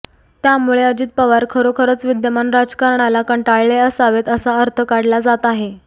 त्यामुळे अजित पवार खरोखरच विद्यमान राजकारणाला कंटाळले असावेत असा अर्थ काढला जात आहे